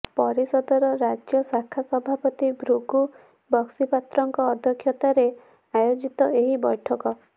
ପରିଷଦର ରାଜ୍ୟ ଶାଖା ସଭାପତି ଭୃଗୁ ବକ୍ସିପାତ୍ରଙ୍କ ଅଧ୍ୟକ୍ଷତାରେ ଆୟୋଜିତ ଏହି ବୈଠକରେ